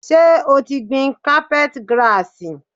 Ṣé o ti gbìn cápẹ́t girasì?